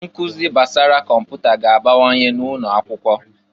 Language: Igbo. Nkụzị gbasara kọmputa ga-abawanye n'ụnọ akwụkwọ.